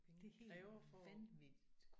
Det er helt vanvittigt